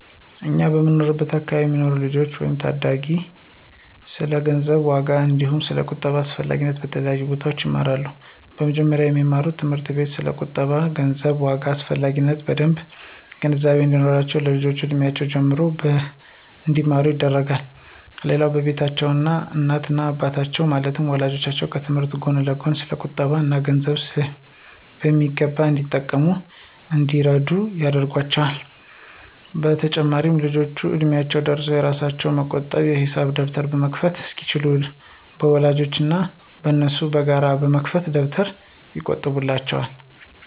እኛ በምንኖርበት አከባቢ የሚኖሩ ልጆች ወይም ታዳጊዎች ስለ ገንዘብ ዋጋ አንዲሁም ስለ ቁጠባ አስፈላጊነት በተለያዩ ቦታዎች ይማራሉ። በመጀመሪያም በሚማሩበት ትምህርት ቤት ስለ ቁጠባ እና ገንዘብ ዋጋ አስፈላጊነት በደምብ ግንዛቤ እንዲኖራቸው ከልጅነት እድሜያቸው ጀምሮ እንዲማሩ ይደረጋል። ሌላው በቤታቸውም እናት እና አባቶቻቸው ማለትም ወላጆቻቸው ከትምህርታቸው ጎን ለጎን ስለ ቁጠባ እና ገንዘብ በሚገባ እንዲያውቁ እና እንዲረዱት ያደርጓቸዋል። በተጨማሪም ልጆቹ እድሚያቸው ደርሶ የራሳቸውን የመቆጠቢያ የሂሳብ ደብተር መክፈት እስኪችሉ በወላጆቻቸው እና በነሱ በጋራ በተከፈተ ደብተር ይቆጥቡላቸዋል።